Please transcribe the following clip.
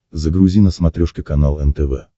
загрузи на смотрешке канал нтв